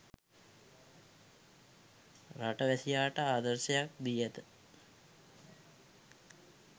රට වැසියාට ආදර්ශයක් දී ඇත